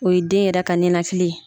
O ye den yɛrɛ ka nenakili ye.